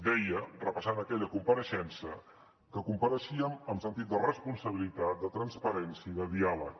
deia repassant aquella compareixença que compareixíem amb sentit de responsabilitat de transparència i de diàleg